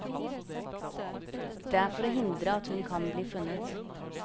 Det er for å hindre at hun kan bli funnet.